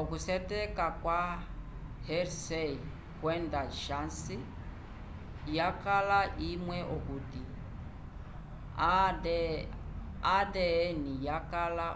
oku syeteka kwa hershey kwenda chase yakala imwe okuti o adn yakala